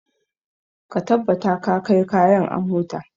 Ka tabbata ka kai kayan a mota.